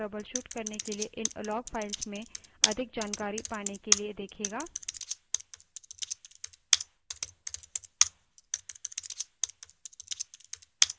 यदि कोई समस्या है तो लिनक्स system administrator उसकी machine को troubleshoot करने के लिए इन log files में अधिक जानकारी पाने के लिए देखेगा